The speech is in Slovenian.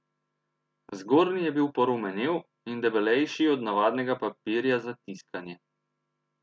Zgornji je bil porumenel in debelejši od navadnega papirja za tiskanje.